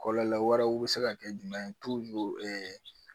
Kɔlɔlɔ wɛrɛw bɛ se ka kɛ jumɛn ye